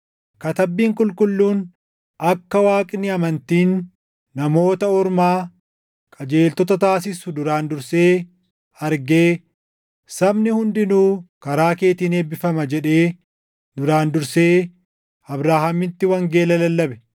Katabbiin Qulqulluun akka Waaqni amantiin Namoota Ormaa qajeeltota taasisu duraan dursee argee, “Sabni hundinuu karaa keetiin eebbifama” + 3:8 \+xt Uma 12:3; 18:18; 22:18\+xt* jedhee duraan dursee Abrahaamitti wangeela lallabe.